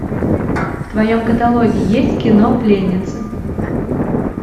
в твоем каталоге есть кино пленницы